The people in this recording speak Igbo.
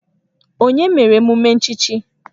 Onye mere emume nchichi?